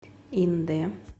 индэ